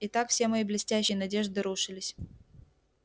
итак все мои блестящие надежды рушились